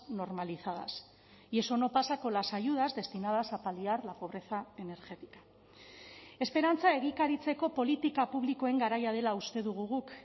normalizadas y eso no pasa con las ayudas destinadas a paliar la pobreza energética esperantza egikaritzeko politika publikoen garaia dela uste dugu guk